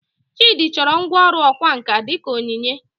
Chidi chọrọ ngwá ọrụ ọkwá nkà dị ka onyinye